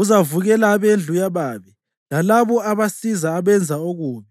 Uzavukela abendlu yababi lalabo abasiza abenza okubi.